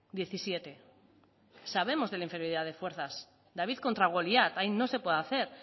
diecisiete sabemos de la inferioridad de fuerzas david contra goliat ahí no se puede hacer